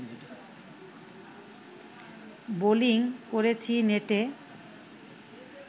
bowling করেছি নেটে